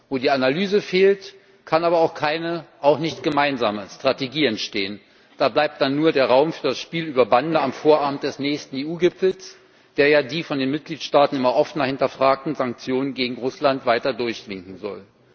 Wo die Analyse fehlt, kann aber auch keine, auch keine gemeinsame, Strategie entstehen, da bleibt dann nur der Raum für das Spiel über Bande am Vorabend des nächsten EU Gipfels, der ja die von den Mitgliedstaaten immer offener hinterfragten Sanktionen gegen Russland weiter durchwinken soll.